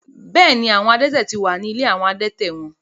Bẹ́ẹ̀ ni, àwọn adẹ́tẹ̀ ti wà ní ilé àwọn adẹ́tẹ̀ wọn.